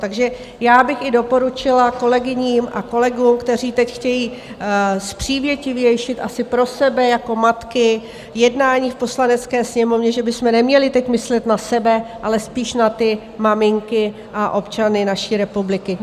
Takže já bych i doporučila kolegyním a kolegům, kteří teď chtějí přívětivější, asi pro sebe jako matky, jednání v Poslanecké sněmovně, že bychom neměli teď myslet na sebe, ale spíš na ty maminky a občany naší republiky.